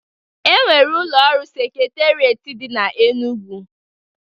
Enwere ụlọ ọrụ Seketerieti dị n'Enugwu